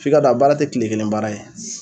F'i k'a dɔn a baara tɛ kile kelen baara ye.